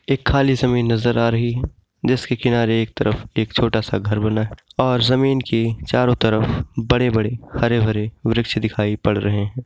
एक खाली समीन नजर आ रही है जिसके किनारे एक तरफ एक छोटा सा घर बना है और जमीन की चारो तरफ बड़े-बड़े हरे भरे वृक्ष दिखाई पड़ रहें हैं।